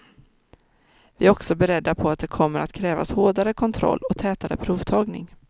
Vi är också beredda på att det kommer att krävas hårdare kontroll och tätare provtagning.